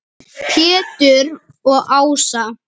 Pétur og Ása.